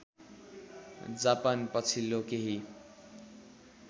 Japan पछिल्लो केही